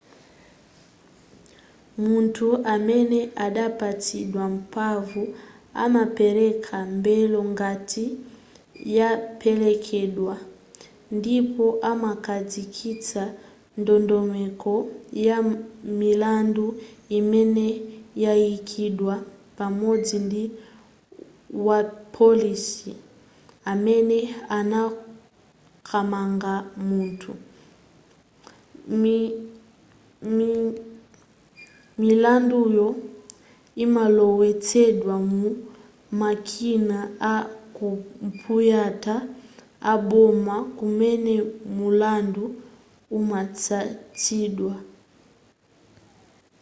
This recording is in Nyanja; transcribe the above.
munthu amene adapatsidwa mphamvu amapereka belo ngati yapelekedwa ndipo amakhazikitsa ndondomeko ya milandu imene yayikidwa pamodzi ndi wapolisi amene anakamanga munthu milanduyo imalowetsedwa mu makina a kompuyuta aboma kumene mulandu umatsatidwa